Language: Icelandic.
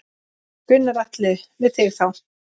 Gunnar Atli: Við þig þá?